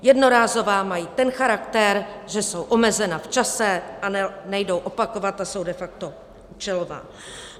Jednorázová mají ten charakter, že jsou omezena v čase a nejdou opakovat a jsou de facto účelová.